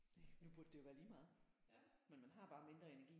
Næ nu burde det jo være lige meget men man har bare mindre energi